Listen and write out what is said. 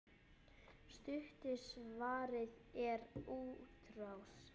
Stutta svarið er útrás.